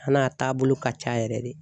A n'a taabolo ka ca yɛrɛ de